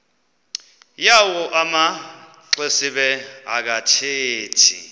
yawo amaxesibe akathethi